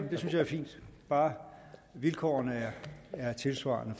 fint bare vilkårene er tilsvarende